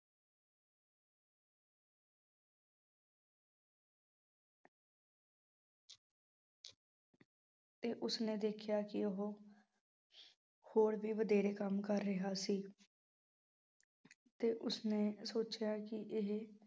ਤੇ ਉਸਨੇ ਦੇਖਿਆ ਕਿ ਉਹ ਹੋਰ ਵੀ ਵਧੇਰੇ ਕੰਮ ਕਰ ਰਿਹਾ ਸੀ ਤੇ ਉਸਨੇ ਸੋਚਿਆ ਕਿ ਇਹ